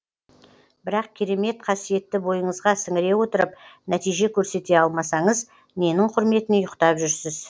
бірақ керемет қасиетті бойыңызға сіңіре отырып нәтиже көрсете алмасаңыз ненің құрметіне ұйықтап жүрсіз